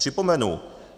Připomenu.